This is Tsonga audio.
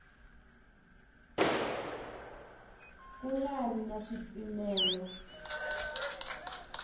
ku nga ri na swipimelo